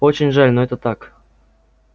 очень жаль но это так